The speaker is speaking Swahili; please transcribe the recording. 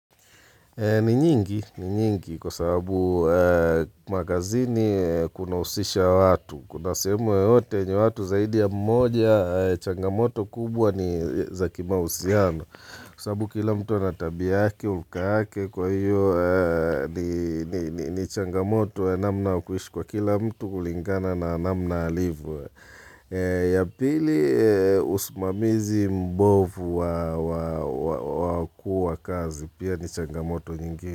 Ni nyingi, ni nyingi, kwa sababu makazini kunahusisha watu, kuna sehemu yoyote yenye watu zaidi ya mmoja ya changamoto kubwa ni za kimawasiliano. Kwa sababu kila mtu ana tabia yake, hulka yake, kwa hiyo ni changamoto, ya namna wa kuishi kwa kila mtu kulingana na namna alivyo. Ya pili usimamizi mbovu wa kuwa kazi pia ni changamoto nyingine.